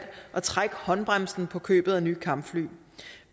at trække håndbremsen på købet af nye kampfly